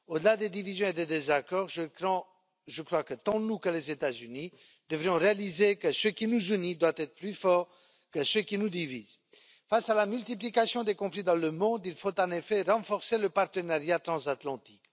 Au delà des divisions et des désaccords, je crois que tant nous que les États Unis devrions réaliser que ce qui nous unit doit être plus fort que ce qui nous divise. Face à la multiplication des conflits dans le monde, il faut en effet renforcer le partenariat transatlantique.